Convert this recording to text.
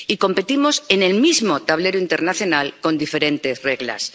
Y competimos en el mismo tablero internacional con diferentes reglas.